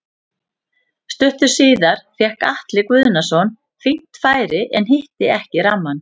Stuttu síðar fékk Atli Guðnason fínt færi en hitti ekki rammann.